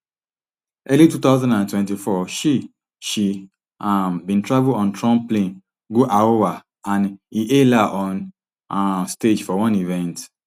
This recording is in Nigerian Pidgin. early two thousand and twenty-four she she um bin travel on trump plane go iowa and e hail her on um stage for one event